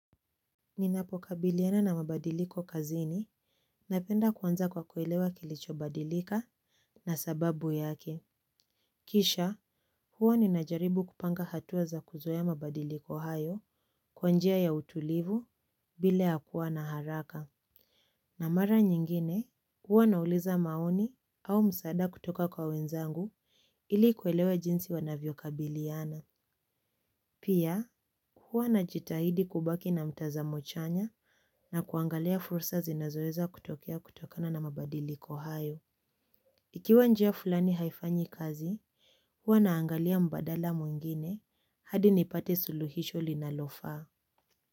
Ninapokabiliana na mabadiliko kazini, napenda kuanza kwa kuelewa kilichobadilika na sababu yake. Kisha, huwa ninajaribu kupanga hatua za kuzoea mabadiliko hayo kwa njia ya utulivu bila ya kuwa na haraka. Na mara nyingine, huwa nauliza maoni au msaada kutoka kwa wenzangu ili kuelewa jinsi wanavyokabiliana. Pia, huwa najitahidi kubaki na mtazamo chanya na kuangalia fursa zinazoweza kutokea kutokana na mabadiliko hayo. Ikiwa njia fulani haifanyi kazi, huwa naangalia mbadala mwingine hadi nipate suluhisho linalofaa.